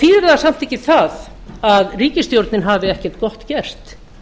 þýðir það samt ekki það að ríkisstjórnin hafi ekkert gott gert